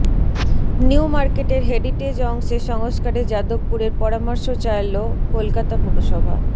new মার্কেটের heritage অংশে সংস্কারে যাদবপুরের পরামর্শ চাইল কলকাতা পুরসভা